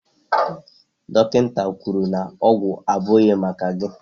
Dọkịta kwuru na ọgwụ abụghị maka gị